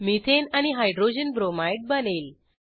methane आणि hydrogen bromide बनेल